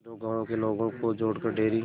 दो गांवों के लोगों को जोड़कर डेयरी